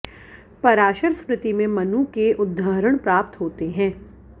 पराशर स्मृति में मनु के उद्धरण प्राप्त होते हैं